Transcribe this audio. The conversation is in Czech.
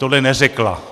Tohle neřekla.